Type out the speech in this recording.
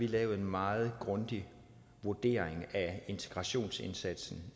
lavet en meget grundig vurdering af integrationsindsatsen